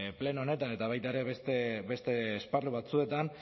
pleno honetan eta baita ere beste esparru batzuetan